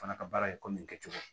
Fana ka baara ye komi kɛcogo